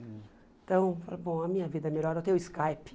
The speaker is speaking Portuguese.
Então, eu falei, bom, a minha vida é melhor eu tenho Skype.